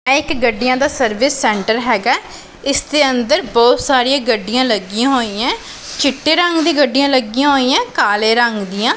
ਇਹ ਇੱਕ ਗੱਡੀਆਂ ਦਾ ਸਰਵਿਸ ਸੈਂਟਰ ਹੈਗਾ ਹੈ ਇੱਸ ਦੇ ਅੰਦਰ ਬਹੁਤ ਸਾਰੀਆਂ ਗੱਡੀਆਂ ਲੱਗੀਆਂ ਹੋਈਆਂ ਚਿੱਟੇ ਰੰਗ ਦੀ ਗੱਡੀਆਂ ਲੱਗੀਆਂ ਹੋਈਆਂ ਕਾਲ਼ੇ ਰੰਗ ਦੀਆਂ।